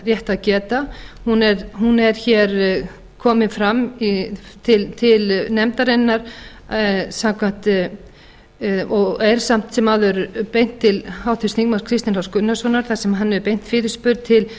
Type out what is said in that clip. rétt að geta hún er hér komin fram til nefndarinnar og er samt sem áður beint til háttvirts þingmanns kristins h gunnarssonar þar sem hann hefur beint fyrirspurn til